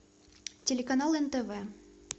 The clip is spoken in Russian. телеканал нтв